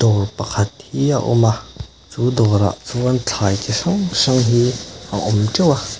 dawr pakhat hi a awma chu dawr ah chuan thlai ti hrang hrang hi a awm teuh a.